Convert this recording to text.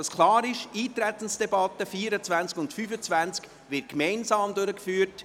Die Eintretensdebatte der Traktanden 24 und 25 wird somit gemeinsam durchgeführt.